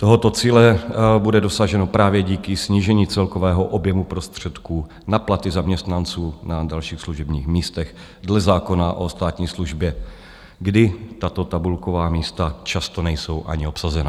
Tohoto cíle bude dosaženo právě díky snížení celkového objemu prostředků na platy zaměstnanců na dalších služebních místech dle zákona o státní službě, kdy tato tabulková místa často nejsou ani obsazena.